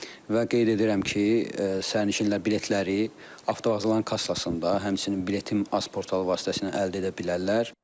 Və qeyd edirəm ki, sərnişinlər biletləri avtovağzalın kassasında, həmçinin biletim az portalı vasitəsilə əldə edə bilərlər.